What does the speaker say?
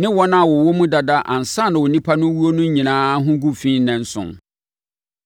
ne wɔn a wɔwɔ mu dada ansa na onipa no rewuo no nyinaa ho gu fi nnanson.